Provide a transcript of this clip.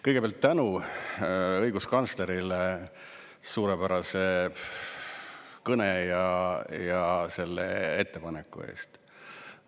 Kõigepealt tänu õiguskantslerile suurepärase kõne ja selle ettepaneku eest.